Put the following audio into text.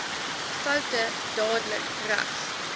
foute dadelik reg